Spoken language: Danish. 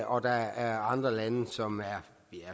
og der er andre lande som er